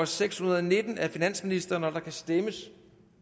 seks hundrede og nitten af finansministeren der kan stemmes